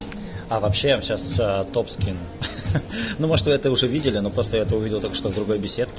а вообще я сейчас думаю что это уже видели но после этого видел только что с другом